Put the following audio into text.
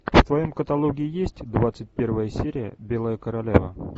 в твоем каталоге есть двадцать первая серия белая королева